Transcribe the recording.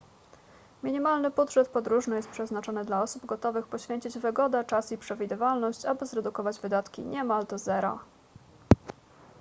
minimalny budżet podróżny jest przeznaczony dla osób gotowych poświęcić wygodę czas i przewidywalność aby zredukować wydatki niemal do zera